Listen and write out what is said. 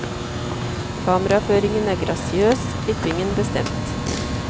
Kameraføringen er grasiøs, klippingen bestemt.